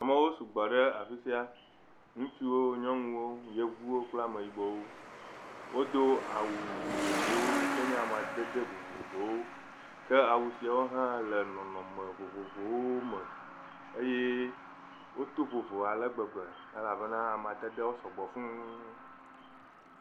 Amewo sɔgbɔ ɖe afi sia, nutsuwo, nyɔnuwo, yevuwo kple ameyibɔwo. Wodo awu vovovowo yike nye amadede vovovowo, ke awu siawo hã le nɔnɔme vovovowo me eye woto vovo ale gbegbe elabena amadedewo sɔgbɔ fuu.